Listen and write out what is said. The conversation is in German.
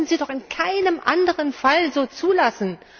Das würden Sie doch in keinem anderen Fall so zulassen!